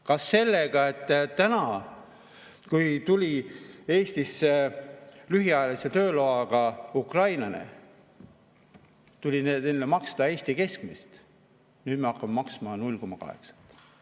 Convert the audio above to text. Kas sellega, et kui enne tuli Eestisse lühiajalise tööloaga ukrainlane, siis tuli talle maksta Eesti keskmist palka, aga nüüd me hakkame maksma 0,8?